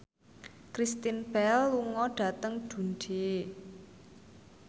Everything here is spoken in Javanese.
Kristen Bell lunga dhateng Dundee